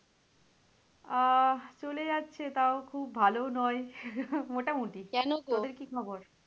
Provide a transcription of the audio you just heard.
আহ চলে যাচ্ছে তাও খুব ভালোও নয়।